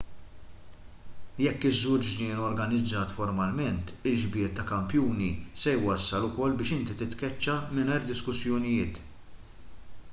jekk iżżur ġnien organizzat formalment il-ġbir ta' kampjuni se jwassal ukoll biex inti titkeċċa mingħajr diskussjonijiet